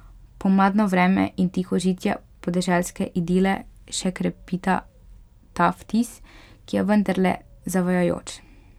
Pomladno vreme in tihožitje podeželske idile še krepita ta vtis, ki je vendarle zavajajoč.